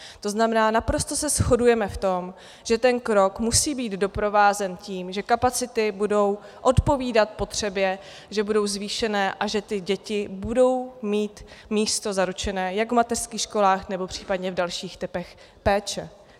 To znamená, naprosto se shodujeme v tom, že ten krok musí být doprovázen tím, že kapacity budou odpovídat potřebě, že budou zvýšené a že ty děti budou mít místo zaručené jak v mateřských školách, nebo případně v dalších typech péče.